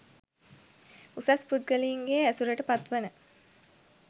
උසස් පුද්ගලයින්ගේ ඇසුරට පත් වන